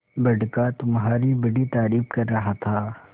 बड़का तुम्हारी बड़ी तारीफ कर रहा था